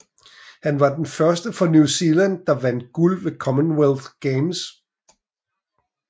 Han var den første fra New Zealand der vandt guld ved Commonwealth Games